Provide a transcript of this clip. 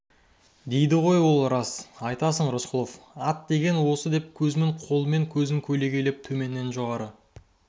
дейді ғой ол рас айтасың рысқұлов ат деген осы деп кузьмин қолымен көзін көлегейлеп төменнен жоғары